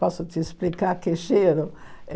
Posso te explicar que cheiro?